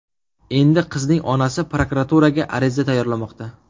Endi qizning onasi prokuraturaga ariza tayyorlamoqda.